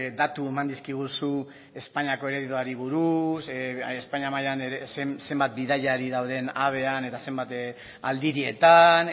datu eman dizkiguzu espainiako ereduari buruz espainia mailan zenbat bidaiari dauden avean eta zenbat aldirietan